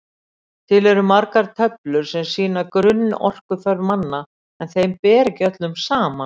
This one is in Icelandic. Til eru margar töflur sem sýna grunnorkuþörf manna en þeim ber ekki öllum saman.